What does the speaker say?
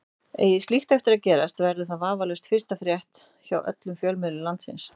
Eigi slíkt eftir að gerast verður það vafalaust fyrsta frétt hjá öllum fjölmiðlum landsins.